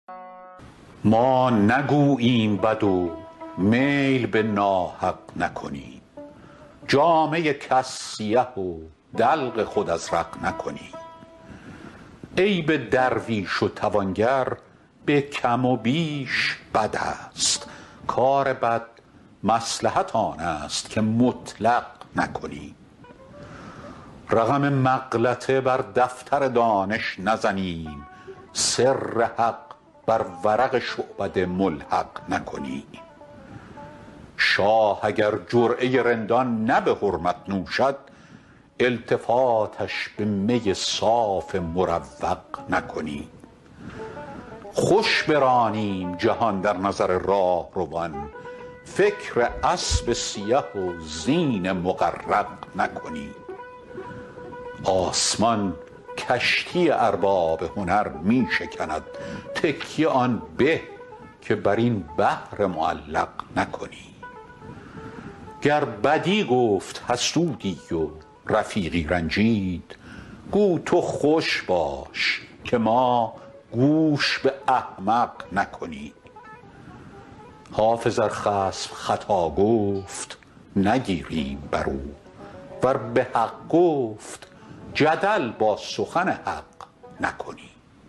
ما نگوییم بد و میل به ناحق نکنیم جامه کس سیه و دلق خود ازرق نکنیم عیب درویش و توانگر به کم و بیش بد است کار بد مصلحت آن است که مطلق نکنیم رقم مغلطه بر دفتر دانش نزنیم سر حق بر ورق شعبده ملحق نکنیم شاه اگر جرعه رندان نه به حرمت نوشد التفاتش به می صاف مروق نکنیم خوش برانیم جهان در نظر راهروان فکر اسب سیه و زین مغرق نکنیم آسمان کشتی ارباب هنر می شکند تکیه آن به که بر این بحر معلق نکنیم گر بدی گفت حسودی و رفیقی رنجید گو تو خوش باش که ما گوش به احمق نکنیم حافظ ار خصم خطا گفت نگیریم بر او ور به حق گفت جدل با سخن حق نکنیم